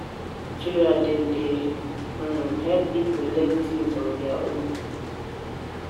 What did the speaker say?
Na online tutorial dem dey help pipo learn tins on their own.